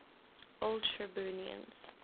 old shirburnians